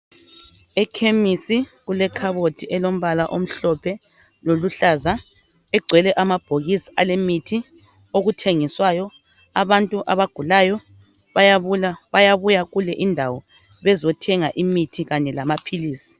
Ekhemisi kulekhabothi elombala omhlophe loluhlaza igcwele amabhokisi alemithi okuthengiswayo, abantu abagulayo bayabuya kule indawo bezothenga imithi kanye lamaphilizi.